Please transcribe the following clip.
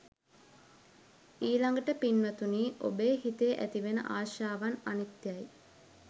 ඊළඟට පින්වතුනි ඔබේ හිතේ ඇතිවෙන ආශාවත් අනිත්‍යයයි.